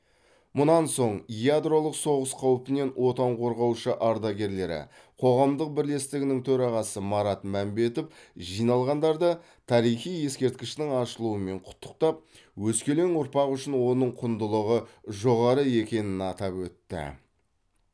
мұнан соң ядролық соғыс қаупінен отан қорғаушы ардагерлері қоғамдық бірлестігінің төрағасы марат мәмбетов жиналғандарды тарихи ескерткіштің ашылуымен құттықтап өскелең ұрпақ үшін оның құндылығы жоғары екенін атап өтті